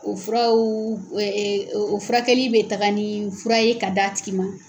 O furawuu o o furakɛli bɛ taga ni fura ye ka d'a tigi ma.